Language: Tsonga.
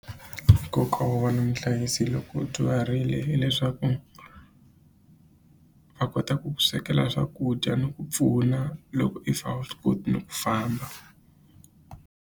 Nkoka wo va na muhlayisi loko u dyuharile hileswaku a kota ku ku swekela swakudya ni ku pfuna loko if a wu swi koti ku famba.